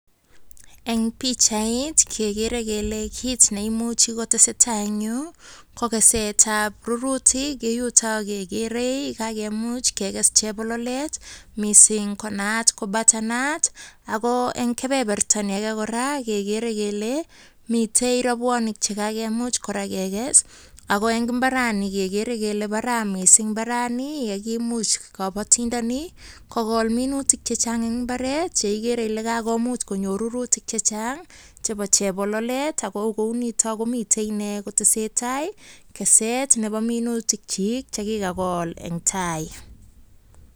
Eng pichait kegere kele kit neimuchi kotesetai eng yu ko kesetab rurutuk, ye yutok kekere kakemuch kekes chebololet mising konaat ko butarnut. Ako eng kebeberta ni age kora kegerekele mitei rabwanik chekakemuch kora kekes, ako eng imbarani kekere kele bara mising imbarani yekimuch kabatindani, kokol minutik chechang eng imbaret ye igere ile kakomuch konyor rurutik chechang chebo chebololet ine kotesetai keset chebo minutik chi chekikol eng tai.